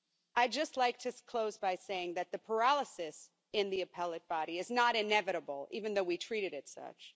I'd just like to close by saying that the paralysis in the Appellate Body is not inevitable, even though we treat it as such.